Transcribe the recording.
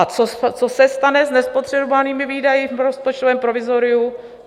A co se stane s nespotřebovanými výdaji v rozpočtovém provizoriu?